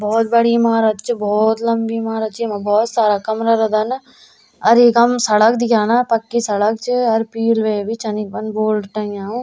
भौत बड़ी इमारत च भौत लंबी इमारत च येमा भौत सारा कमरा रंदन अर इखम सड़क दिखेणा पक्की सड़क च अर पील वे भी छन इखम बोर्ड टंग्या वु।